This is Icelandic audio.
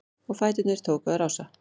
Og fæturnir tóku að rása-